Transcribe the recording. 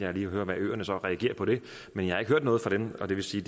og hører hvordan øerne så reagerer på det men jeg har ikke hørt noget fra dem og det vil sige